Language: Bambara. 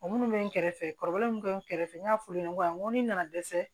O minnu bɛ n kɛrɛfɛ kɔrɔlen minnu kɛ nɛrɛfɛ n y'a f'u ye n ko a n ko ni nana dɛsɛ